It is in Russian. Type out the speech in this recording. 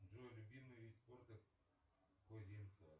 джой любимый вид спорта козинцева